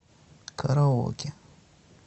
караоке